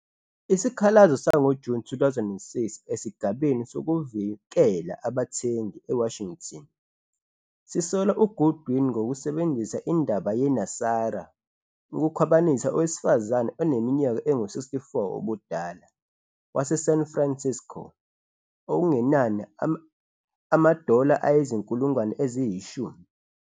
Isikhalazo sangoJuni 2006 esigabeni sokuvikela abathengi eWashington sisola uGoodwin ngokusebenzisa indaba yeNESARA ukukhwabanisa owesifazane oneminyaka engu-64 ubudala waseSan Francisco okungenani ama- ama-dllar ayi-10,000.